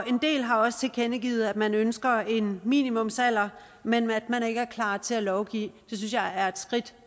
en del har også tilkendegivet at man ønsker en minimumsalder men at man ikke er klar til at lovgive det synes jeg er et skridt